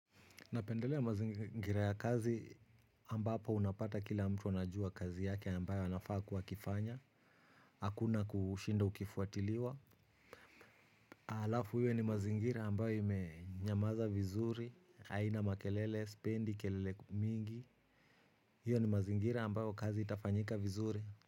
Napendelea mazingira ya kazi ambapo unapata kila mtu anajua kazi yake ambayo anafaa kuwa akifanya. Hakuna kushinda ukifuatiliwa. Alafu hiyo ni mazingira ambayo imenyamaza vizuri. Haina makelele, sipendi, kelele mingi. Hiyo ni mazingira ambayo kazi itafanyika vizuri.